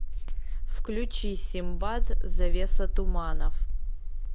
включи синбад завеса туманов